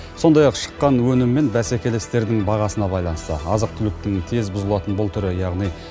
сондай ақ шыққан өнім мен бәсекелестердің бағасына байланысты азық түліктің тез бұзылатын бұл түрі яғни